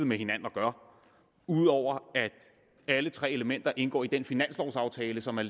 med hinanden at gøre ud over at alle tre elementer indgår i den finanslovaftale som er